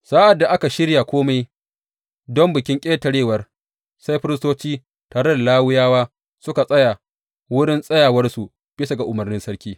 Sa’ad da aka shirya kome don Bikin Ƙetarewar, sai Firistoci tare da Lawiyawa suka tsaya wurin tsayawarsu bisa ga umarnin sarki.